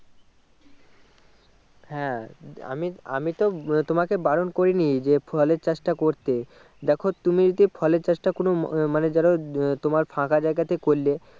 হ্যাঁ আমি আমিতো আহ তোমাকে বারন করেনি যে ফলের চাষটা করতে দেখো তুমি যদি ফলের চাষটা কোনো ম মানেযারা আহ তোমার ফাঁকা জায়গাতে করলে